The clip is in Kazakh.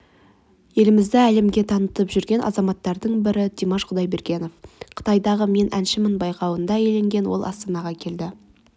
елімізді әлемге танытып жүрген азаматтардың бірі димаш құдайбергенов қытайдағы мен әншімін байқауында иеленген ол астанаға келді